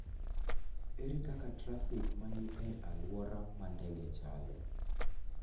ere kaka trafik ma ni e alwora ma ndege chalo?